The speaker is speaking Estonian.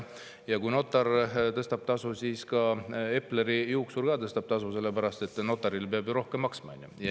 Ja kui notar tõstab tasu, siis ka Epleri juuksur tõstab tasu, sellepärast et peab notarile rohkem maksma.